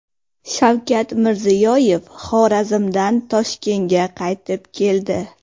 Shavkat Mirziyoyev Xorazmdan Toshkentga qaytib keldi.